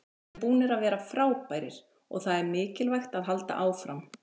Við erum búnir að vera frábærir og það er mikilvægt að halda áfram.